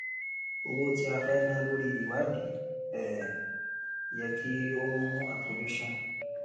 òwò tí a fẹ na lórí ìwádìí um yẹ kí ó mú àfojúsùn